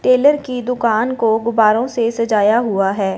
Taylor की दुकान को गुब्बारों से सजाया हुआ है।